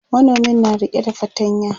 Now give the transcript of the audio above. manomin na rike da fatanya